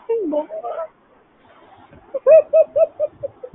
বল ।